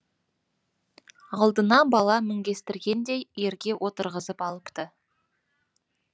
алдына бала мінгестіргендей ерге отырғызып алыпты